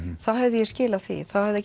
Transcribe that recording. þá hefði ég skilað því þá hefði